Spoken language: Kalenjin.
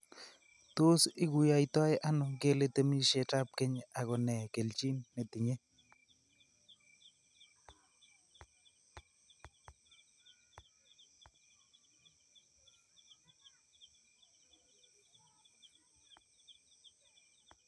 Tos iguiyoito ano, ngele temishetab keny ako ne keljin netinye?